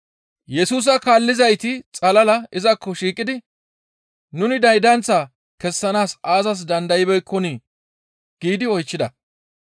Yesusa kaallizayti xalala izakko shiiqidi, «Nuni daydanth kessanaas aazas dandaybeekkonii?» giidi oychchida.